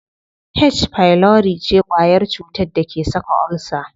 H pylori ce kwayar cutar da ke saka ulcer.